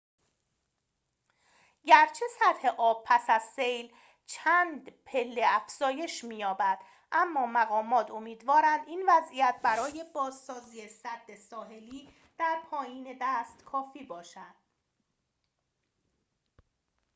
گرچه سطح آب پس از سیل چند پله افزایش می‌یابد اما مقامات امیدوارند این وضعیت برای بازسازی سد ساحلی در پایین دست کافی باشد